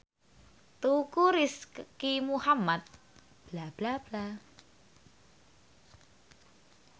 Teuku Rizky Muhammad lagi sekolah nang Universitas Al Azhar